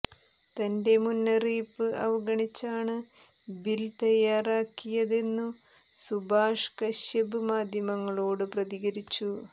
തന്റെ മുന്നറിയിപ്പ് അവഗണിച്ചാണു ബില് തയാറാക്കിയതെന്നു സുഭാഷ് കശ്യപ് മാധ്യമങ്ങളോടു പ്രതികരിച്ചു